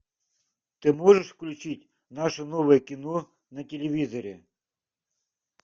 ты можешь включить наше новое кино на телевизоре